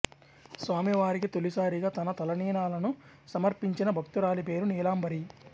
స్వామివారికి తొలిసారిగా తన తలనీలాలను సమర్పించిన భక్తురాలి పేరు నీలాంబరి